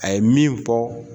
A ye min fɔ